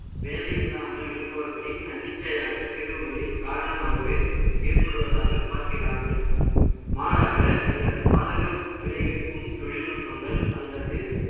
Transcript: வேலை இல்லாமல் இருப்பவர்களில், தன்னிச்சையாக தேர்வுகளின் காரணமாகவே, ஏற்படுவதாக பார்க்கிறார்கள். மாறாக, சிலர் பாதகம் விளைவிக்கும் தொழில்நுட்பங்கள் அல்லது